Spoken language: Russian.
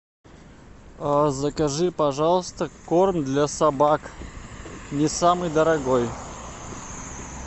закажи пожалуйста корм для собак не самый дорогой